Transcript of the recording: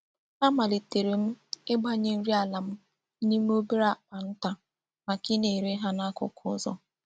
Amalitere m igbanye nri ala m n'ime obere akpa nta maka I na-ere ha n'akuku uzo.